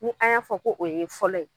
Ni an y'a fɔ ko o ye fɔlɔ ye